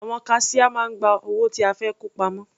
Àwọn kaṣíá máa ń gba owó tí a fẹ́ kó pamọ́.